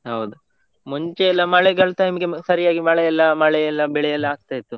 ಹೌದು ಮುಂಚೆಯೆಲ್ಲಾ ಮಳೆಗಳ time ಈಗೆ ಸರಿಯಾಗಿ ಮಳೆಯೆಲ್ಲಾ, ಮಳೆಯೆಲ್ಲಾ ಬೆಳೆಯೆಲ್ಲ ಎಲ್ಲಾ ಆಗ್ತಾ ಇತ್ತು.